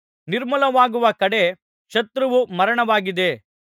ನಿರ್ಮೂಲವಾಗುವ ಕಡೆ ಶತ್ರುವು ಮರಣವಾಗಿದೆ